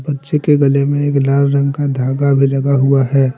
बच्चे के गले में एक लाल रंग का धागा भी लगा हुआ है ।